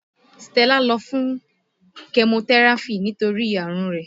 Stella lọ fún kẹmotẹ́ráfì nítorí àrùn rẹ̀